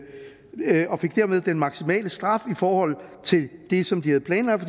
den maksimale straf i forhold til det som de havde planlagt